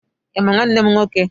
Ị ma nwanne m nwoke?